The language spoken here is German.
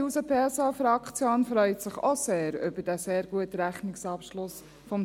Die SP-JUSO-PSA-Fraktion freut sich auch sehr über diesen sehr guten Rechnungsabschluss 2018.